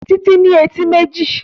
Títí ní etí méjì